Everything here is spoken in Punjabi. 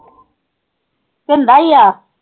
ਧੰਦਾ ਹੀ ਆ।